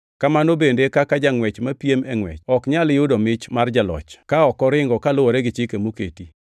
Kamano bende e kaka jangʼwech mapiem e ngʼwech ok nyal yudo mich mar jaloch ka ok oringo kaluwore gi chike moketi.